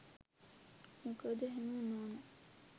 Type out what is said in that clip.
මොකද එහෙම උනා නං